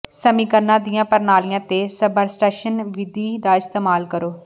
ਸਮੀਕਰਨਾਂ ਦੀਆਂ ਪ੍ਰਣਾਲੀਆਂ ਤੇ ਸਬਪਰਟਾਈਸ਼ਨ ਵਿਧੀ ਦਾ ਇਸਤੇਮਾਲ ਕਰੋ